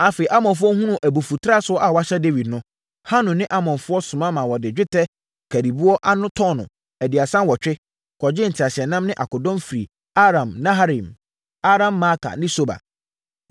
Afei, Amonfoɔ hunuu abufutrasoɔ a wɔahyɛ Dawid no, Hanun ne Amonfoɔ soma maa wɔde dwetɛ nkariboɔ ani tɔno 38 kɔgyee nteaseɛnam ne akodɔm firii Aram-naharaim, Aram-maaka ne Soba.